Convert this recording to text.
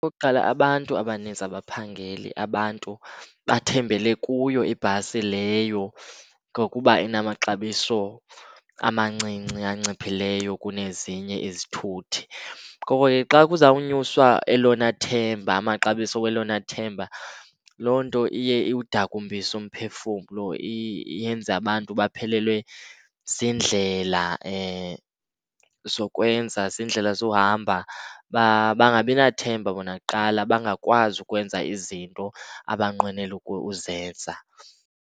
Okokuqala, abantu abaninzi abaphangeli. Abantu bathembele kuyo ibhasi leyo ngokuba inamaxabiso amancinci anciphileyo kunezinye izithuthi. Ngoko ke xa kuzawunyuswa elona themba, amaxabiso welona themba, loo nto iye iwudakumbise umphefumlo. Yenze abantu baphelelwe ziindlela zokwenza, ziindlela zohamba. Bangabi nathemba bona kuqala, bangakwazi ukwenza izinto abanqwenela uzenza.